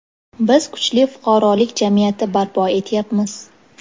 Biz kuchli fuqarolik jamiyati barpo etyapmiz.